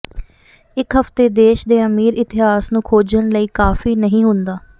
ਇੱਕ ਹਫ਼ਤੇ ਦੇਸ਼ ਦੇ ਅਮੀਰ ਇਤਿਹਾਸ ਨੂੰ ਖੋਜਣ ਲਈ ਕਾਫੀ ਨਹੀਂ ਹੁੰਦਾ